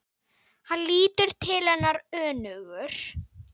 Hann lítur til hennar önugur.